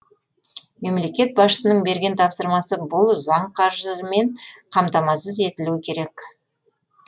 мемлекет басшысының берген тапсырмасы бұл заң қаржымен қамтамасыз етілуі керек